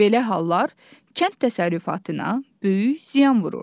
Belə hallar kənd təsərrüfatına böyük ziyan vurur.